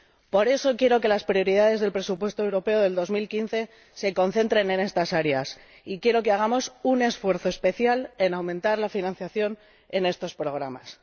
Por eso, quiero que las prioridades del presupuesto europeo de 2015 se concentren en estas áreas y quiero que hagamos un esfuerzo especial por aumentar la financiación en estos programas.